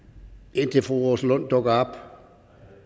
indtil fru rosa lund dukker op